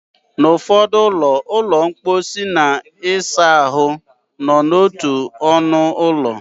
N'ụfọdụ ụlọ, ụlọ mposi na ụlọ ịsa ahụ nọ n'otu ọnụ ụlọ.